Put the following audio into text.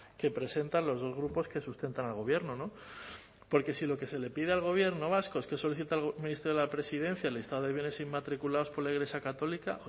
que presentan los dos grupos que sustentan al gobierno no porque si lo que se le pide al gobierno vasco es que solicite al ministerio de la presidencia el listado de bienes inmatriculados por la iglesia católica